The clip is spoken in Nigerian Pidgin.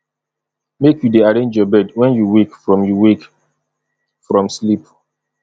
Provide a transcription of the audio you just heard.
make you dey arrange your bed wen you wake from you wake from sleep